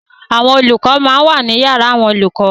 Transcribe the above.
Àwọn olùkọ máa ń wà ní yàrá àwọn olùkọ.